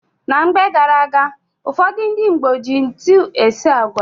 Na mgbe gara-aga, ụfọdụ ndị Igbo ji ntu esi agwa.